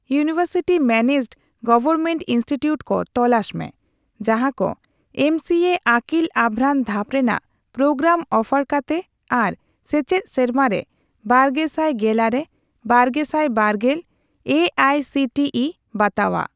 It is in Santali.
ᱤᱭᱩᱱᱤᱣᱮᱨᱥᱤᱴᱤ ᱢᱮᱱᱮᱡᱰᱼᱜᱣᱶᱚᱨᱢᱮᱱᱴ ᱤᱱᱥᱴᱤᱴᱤᱭᱩᱴ ᱠᱚ ᱛᱚᱞᱟᱥ ᱢᱮ ᱡᱟᱦᱟᱠᱚ ᱮᱢᱥᱤᱮ ᱨᱮ ᱟᱹᱠᱤᱞ ᱟᱵᱷᱨᱟᱱ ᱫᱷᱟᱯ ᱨᱮᱱᱟᱜ ᱯᱨᱳᱜᱨᱟᱢ ᱚᱯᱷᱟᱨ ᱠᱟᱛᱮ ᱟᱨ ᱥᱮᱪᱮᱫ ᱥᱮᱨᱢᱟᱨᱮ ᱵᱟᱨᱜᱮᱥᱟᱭ ᱜᱮᱞᱟᱨᱮ ᱼᱵᱟᱨᱜᱮᱥᱟᱭ ᱵᱟᱨᱜᱮᱞ A I C T E ᱵᱟᱛᱟᱣᱟᱜ ᱾